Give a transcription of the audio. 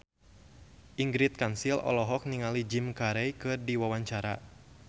Ingrid Kansil olohok ningali Jim Carey keur diwawancara